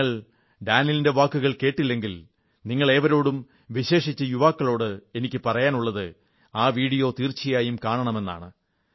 നിങ്ങൾ ഡാനിൽ മെഡ്വേഡേവിന്റെ വാക്കുകൾ കേട്ടില്ലെങ്കിൽ നിങ്ങളേവരോടും വിശേഷിച്ച് യുവാക്കളോട് എനിക്കു പറയാനുള്ളത് ആ വീഡിയോ തീർച്ചയായും കാണണമെന്നാണ്